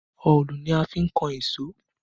Òòlù ni a fi n kan èṣó